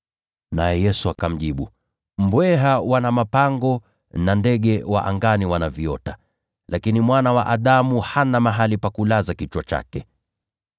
Naye Yesu akamjibu, “Mbweha wana mapango, nao ndege wa angani wana viota, lakini Mwana wa Adamu hana mahali pa kulaza kichwa chake.”